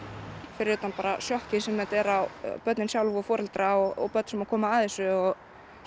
fyrir utan sjokkið sem þetta er á börnin sjálf og foreldrana og börn sem að koma að þessu og